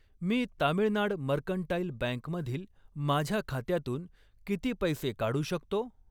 मी Tamilnad mercantile bank मधील माझ्या खात्यातून किती पैसे काढू शकतो?